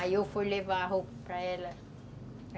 Aí eu fui levar a roupa para ela.